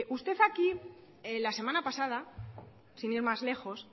usted aquí la semana pasada sin ir más lejos